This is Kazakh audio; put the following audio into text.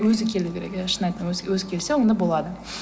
өзі келу керек иә шын айтамын өзі келсе онда болады